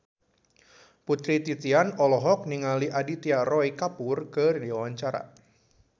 Putri Titian olohok ningali Aditya Roy Kapoor keur diwawancara